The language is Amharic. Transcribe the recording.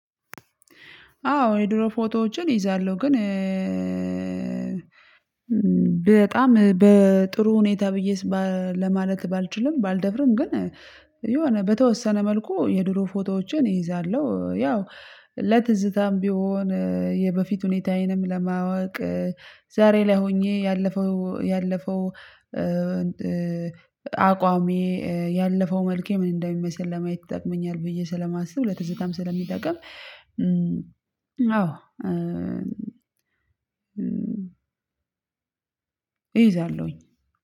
አዎ የድሮ ፎቶዎችን እይዛለሁ ግን በጣም በጥሩ ሁኔታ ብዬ ለማለት ባልችልም ባልደፍርም ግን የሆነ በተወሰነ መልኩ የድሮ ፎቶዎችን እይዛለሁ ያው ለትዝታም ቢሆን የበፊት ሁኔታዬንም ለማወቅ ዛሬ ላይ ሆኜ ያለፈው ያለፈው አቋሜ ያለፈው መልኬ ምን እንደሚመስል ለማየት ይጠቅመኛል ብዬ ስለማስብ ለፅታም ስለሚጠቅም አዎ እይዛለሁኝ።